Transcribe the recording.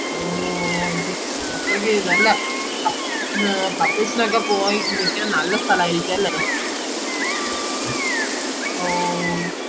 ഓ ഓ അത്രയ്ക്ക് നല്ല സ്ഥലാരിക്കും അല്ലെ ഓ